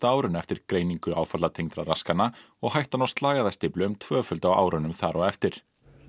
árinu eftir greiningu áfallatengdra raskana og hættan á slagæðastíflu um tvöföld á árunum þar á eftir